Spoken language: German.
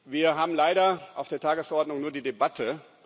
Wir haben leider auf der Tagesordnung nur die Debatte.